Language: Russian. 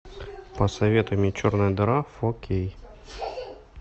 посоветуй мне черная дыра фо кей